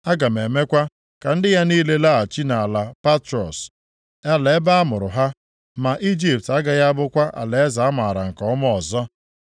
Aga m emekwa ka ndị ya niile laghachi nʼala Patros, ala ebe a mụrụ ha. Ma Ijipt agaghị abụkwa alaeze a maara nke ọma ọzọ.